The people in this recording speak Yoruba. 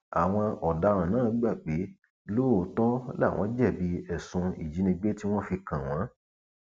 àwọn ọdaràn náà gbà pé lóòótọ làwọn jẹbi ẹsùn ìjínigbé tí wọn fi kàn wọn